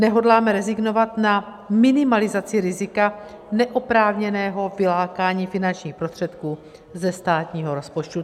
Nehodláme rezignovat na minimalizaci rizika neoprávněného vylákání finančních prostředků ze státního rozpočtu.